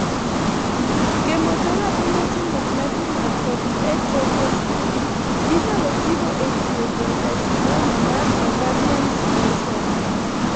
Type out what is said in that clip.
Chemotherapy moting'o platinum kod etoposide inyalo tigo e thiedho carcinoma mar ovarian small cell.